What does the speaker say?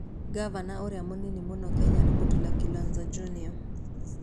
Ngavana ũrĩa mũnini mũno Kenya nĩ Mutula Kilonzo Jr.